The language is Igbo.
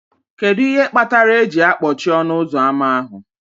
Kedu ihe kpatara eji akpọchie ọnụ ụzọ ámá ahụ